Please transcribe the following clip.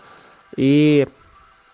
и